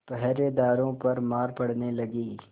पहरेदारों पर मार पड़ने लगी